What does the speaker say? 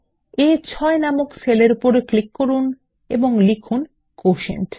এখন আ6 নামক সেল এর উপর ক্লিক করুন এবং লিখুন কোটিয়েন্ট